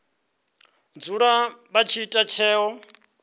dzula vha tshi ita tsheo